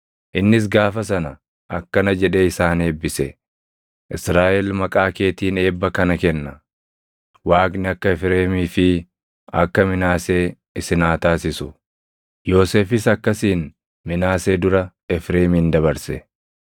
Innis gaafa sana akkana jedhee isaan eebbise; “Israaʼel maqaa keetiin eebba kana kenna; ‘Waaqni akka Efreemii fi akka Minaasee isin haa taasisu.’ ” Yoosefis akkasiin Minaasee dura Efreemin dabarse.